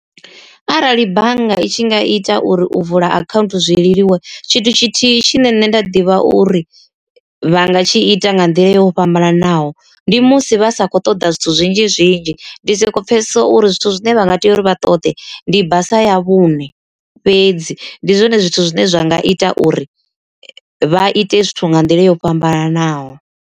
Arali bannga i tshi nga ita uri u vula akhaunthu zwi leluwe tshithu tshithihi tshine nṋe nda ḓivha uri vha nga tshi ita nga nḓila yo fhambananaho. Ndi musi vha sa kho ṱoḓa zwithu zwinzhi zwinzhi ndi soko pfhesesa uri zwithu zwine vha nga tea uri vha ṱoḓe ndi basa ya vhuṋe fhedzi, ndi zwone zwithu zwine zwa nga ita uri vha ite zwithu nga nḓila yo fhambananaho.